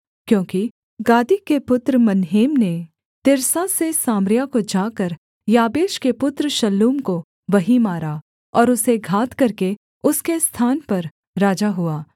क्योंकि गादी के पुत्र मनहेम ने तिर्सा से सामरिया को जाकर याबेश के पुत्र शल्लूम को वहीं मारा और उसे घात करके उसके स्थान पर राजा हुआ